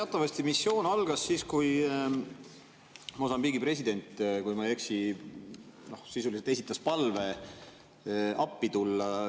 No teatavasti missioon algas siis, kui Mosambiigi president, kui ma ei eksi, sisuliselt esitas palve appi tulla.